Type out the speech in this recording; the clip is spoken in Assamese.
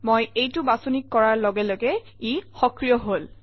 মই এইটো বাছনি কৰাৰ লগে লগে ই সক্ৰিয় হল